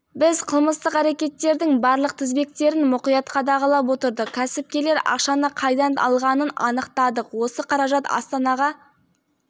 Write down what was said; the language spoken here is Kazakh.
жұмыр жердің бетінде туған өлке мен туған топыраққа деген тартылысқа тең келетін бір де бір күш